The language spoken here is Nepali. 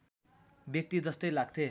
व्यक्ति जस्तै लाग्थे